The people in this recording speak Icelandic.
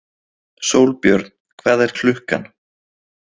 Sólbjörn, hvað er klukkan?